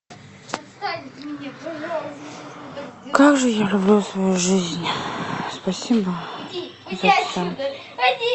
как же я люблю свою жизнь спасибо за все